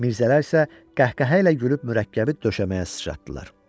Mirzələr isə qəhqəhə ilə gülüb mürəkkəbi döşəməyə sıçratdılar.